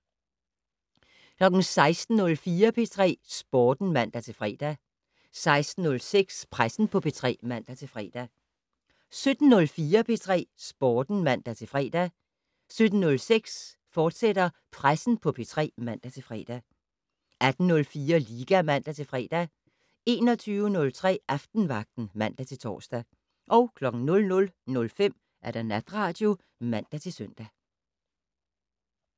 16:04: P3 Sporten (man-fre) 16:06: Pressen på P3 (man-fre) 17:04: P3 Sporten (man-fre) 17:06: Pressen på P3, fortsat (man-fre) 18:04: Liga (man-fre) 21:03: Aftenvagten (man-tor) 00:05: Natradio (man-søn)